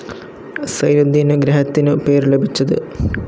സൈനുദീനു ഗ്രഹത്തിനു പേരു ലഭിച്ച തു.